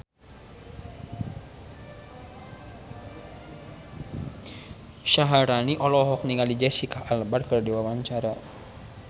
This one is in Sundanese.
Syaharani olohok ningali Jesicca Alba keur diwawancara